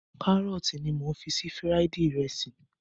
Kárọ̀tì ní mò ń fi fíráídí ìrẹsì.